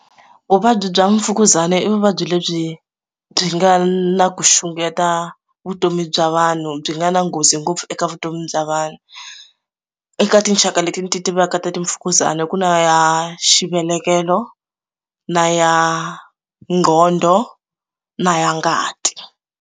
Vuvabyi bya mfukuzana i vuvabyi lebyi byi nga na ku xungeta vutomi bya vanhu byi nga na nghozi ngopfu eka vutomi bya vanhu eka tinxaka leti ndzi ti tivaka ta timfukuzani ku na ya xivelekelo na ya nghondo na ya ngati.